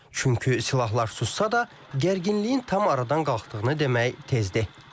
Çünki silahlar sussa da, gərginliyin tam aradan qalxdığını demək tezdir.